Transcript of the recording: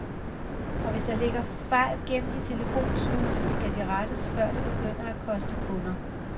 Og hvis der ligger fejl gemt i telefonslusen, skal de rettes, før det begynder at koste kunder.